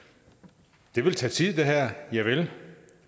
det her vil tage tid javel